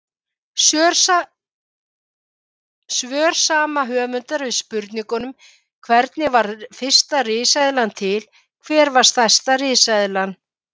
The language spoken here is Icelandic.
Svör sama höfundar við spurningunum Hvernig varð fyrsta risaeðlan til?, Hver var stærsta risaeðlan?